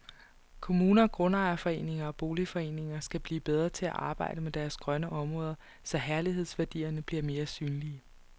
Kommuner, grundejerforeninger og boligforeninger skal blive bedre til at arbejde med deres grønne områder, så herlighedsværdierne bliver mere synlige.